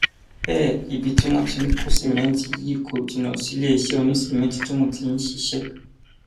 bẹẹ ibi tí wọn ti ń kó sìmẹǹtì yìí kò jìnnà síléeṣẹ onísìmẹǹtì tóun ti ń ṣiṣẹ